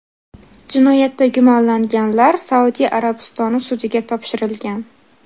Jinoyatda gumonlanganlar Saudiya Arabistoni sudiga topshirilgan.